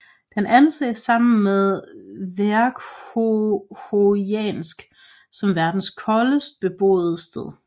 Den anses sammen med Verkhojansk som verdens koldeste beboede sted